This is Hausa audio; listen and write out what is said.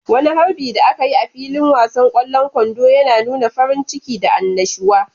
Wani harbin da aka yi a filin wasan kwallon kwando yana nuna farin ciki da annashuwa.